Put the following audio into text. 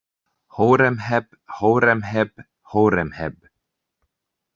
Hóremheb Hóremheb Hóremheb.